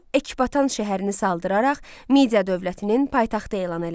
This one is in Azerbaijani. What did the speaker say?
O, Ekbatan şəhərini saldıraraq, Midiya dövlətinin paytaxtı elan elədi.